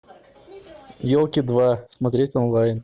елки два смотреть онлайн